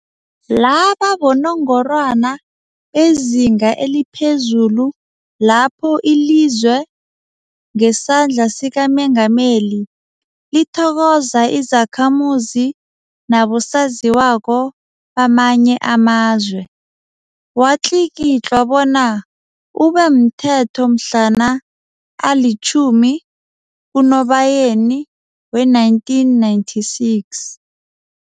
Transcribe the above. Laba bonongorwana bezinga eliphezulu lapho ilizwe, ngesandla sikaMengameli, lithokoza izakhamuzi nabosaziwako bamanye amazwe. Watlikitlwa bona ube mthetho mhlana ali-10 kuNobayeni we-1996.